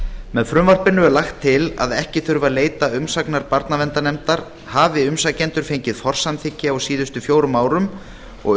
með frumvarpinu er lagt til að ekki þurfi að leita umsagnar barnaverndarnefndar hafi umsækjendur fengið forsamþykki á síðustu fjórum árum og